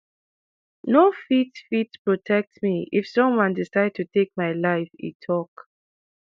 no fit fit protect me if someone decide to take my life e tok